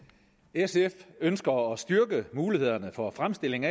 sf ønsker at styrke mulighederne for fremstilling